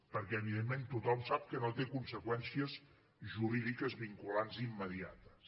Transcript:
perquè evidentment tothom sap que no té conseqüències jurídiques vinculants immediates